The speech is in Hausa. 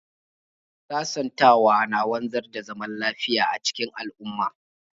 Sasantawa na wanzar da zaman lafiya a cikin al'umma.